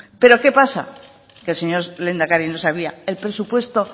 pero qué pasa que el señor lehendakari no sabía el presupuesto